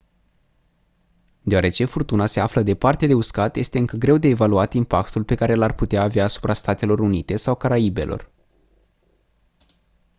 deoarece furtuna se află departe de uscat este încă greu de evaluat impactul pe care l-ar putea avea asupra statelor unite sau caraibelor